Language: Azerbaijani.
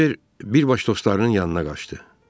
Kibər birbaş dostlarının yanına qaçdı.